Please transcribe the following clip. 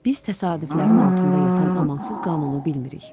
Biz təsadüflərin altında yatan amansız qanunu bilmirik.